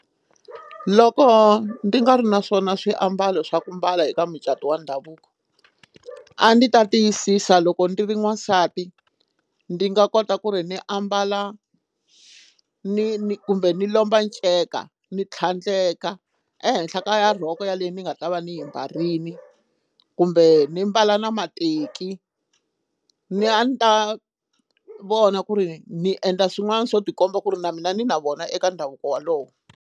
Loko ndzi nga ri na swona swiambalo swa ku mbala eka mucato wa ndhavuko a ni ta tiyisisa loko ndi ri n'wansati ndi nga kota ku ri ni ambala ni ni kumbe ni lomba nceka ni tlhandleka ehenhla ka ya rhoko yaleyo ni nga ta va ni yi mbarile kumbe ni mbala na mateki ni a ni ta vona ku ri ni endla swin'wana swo tikomba ku ri na mina ni na vona eka ndhavuko walowo.